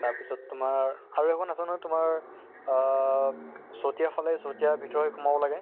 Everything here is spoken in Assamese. তাৰ পিছত তোমাৰ আৰু এখন আছে নহয় তোমাৰ আহ চতিয়া ফালে চতিয়াৰ ভতৰেৰে সোমাব লাগে।